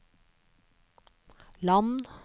land